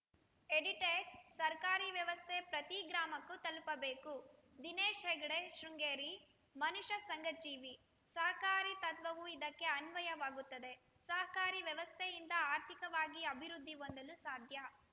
edited ಸರಕಾರಿ ವ್ಯವಸ್ಥೆ ಪ್ರತಿ ಗ್ರಾಮಕ್ಕೂ ತಲುಪಬೇಕು ದಿನೇಶ್‌ ಹೆಗ್ಡೆ ಶೃಂಗೇರಿ ಮನುಷ್ಯ ಸಂಘ ಜೀವಿ ಸಹಕಾರಿ ತತ್ವವು ಇದಕ್ಕೆ ಅನ್ವಯವಾಗುತ್ತದೆ ಸಹಕಾರಿ ವ್ಯವಸ್ಥೆಯಿಂದ ಆರ್ಥಿಕವಾಗಿ ಅಭಿವೃದ್ಧಿ ಹೊಂದಲು ಸಾಧ್ಯ